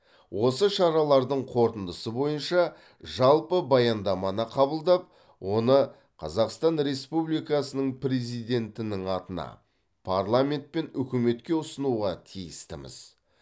осы шаралардың қорытындысы бойынша жалпы баяндаманы қабылдап оны қазақстан республикасының президентінің атына парламент пен үкіметке ұсынуға тиістіміз